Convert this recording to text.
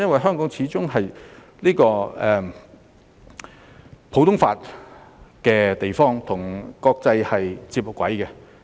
香港始終是普通法司法管轄區，與國際接軌。